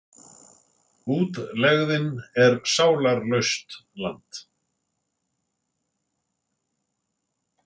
Útlegðin er sálarlaust land.